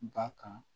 Ba kan